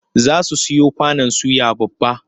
Za su siyo kwanon suya babba.